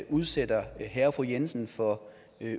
udsætter herre og fru jensen for